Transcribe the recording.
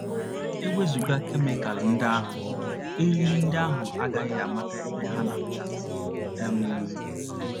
E wezụga kemikal ndị ahụ, eriri ndị ahụ agaghị amata ebe ha na - aga um.